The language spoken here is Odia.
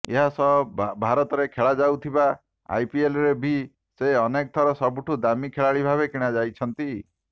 ଏହାସହ ଭାରତରେ ଖେଳାଯାଉଥିବା ଆଇପିଏଲ୍ରେ ବି ସେ ଅନେକ ଥର ସବୁଠୁ ଦାମୀ ଖେଳାଳି ଭାବେ କିଣାଯାଇଛନ୍ତି